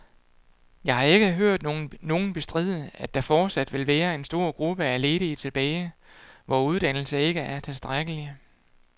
Jeg har ikke hørt nogen bestride, at der fortsat vil være en stor gruppe af ledige tilbage, hvor uddannelse ikke er tilstrækkeligt.